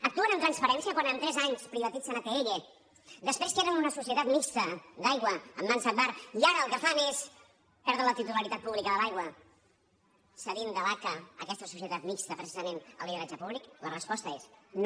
actuen amb transparència quan en tres anys privatitzen atll després que era una societat mixta d’aigua en mans d’agbar i ara el que fan és perdre la titularitat pública de l’aigua cedint de l’aca aquesta societat mixta precisament el lideratge públic la resposta és no